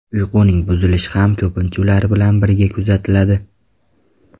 Uyquning buzilishi ham ko‘pincha ular bilan birga kuzatiladi.